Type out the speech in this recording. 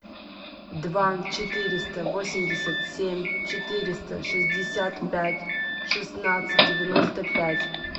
два четыреста восемьдесят семь четыреста шестьдесят пять шестнадцать девяносто пять